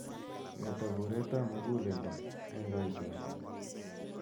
Mi ata bureet ap muguleldo eng'kaitoshek.